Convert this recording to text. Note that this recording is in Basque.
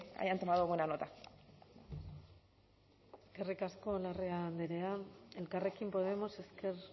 hayan tomado buena nota eskerrik asko larrea andrea elkarrekin podemos ezker